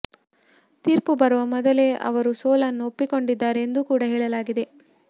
ತೀರ್ಪು ಬರುವ ಮೊದಲೇ ಅವರು ಸೋಲನ್ನು ಒಪ್ಪಿಕೊಂಡಿದ್ದಾರೆ ಎಂದು ಕೂಡಾ ಹೇಳಲಾಗಿದೆ